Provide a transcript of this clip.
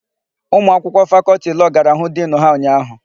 Ụmụakwụkwọ Fakọltị Lọọ gara hụ Dinu ha ụnyaahụ.